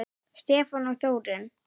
Stefán og Þórunn.